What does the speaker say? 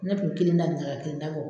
Ne tun bɛ kelen da nin na ka kelen ta bɔ